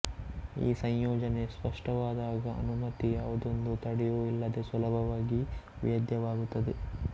ಈ ಸಂಯೋಜನೆ ಸ್ಪಷ್ಟವಾದಾಗ ಅನುಮತಿ ಯಾವುದೊಂದು ತಡೆಯೂ ಇಲ್ಲದೆ ಸುಲಭವಾಗಿ ವೇದ್ಯವಾಗುತ್ತದೆ